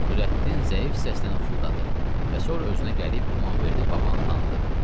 Nurəddin zəif səslə nə ufuldadı və sonra özünə gəlib İmamverdi babanı tanıdı.